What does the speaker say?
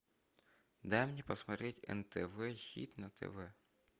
дай мне посмотреть нтв хит на тв